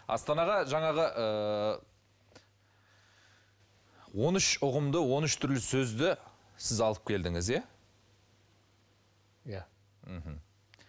астанаға жаңағы ыыы он үш ұғымды он үш түрлі сөзді сіз алып келдіңіз иә иә мхм